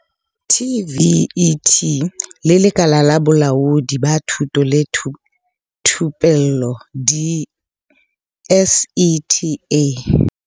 TVET le Lekala la Bolaodi ba Thuto le Thupello di-SETA.